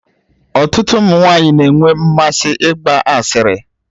Ọtụtụ ụmụ nwanyị na-enwe mmasị ịgba asịrị.